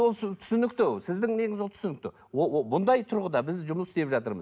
түсінікті сіздің неңіз ол түсінікті бұндай тұрғыда біз жұмыс істеп жатырмыз